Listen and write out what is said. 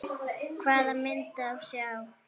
Hvaða mynd á að sjá?